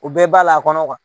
U bɛɛ ba la kɔnɔ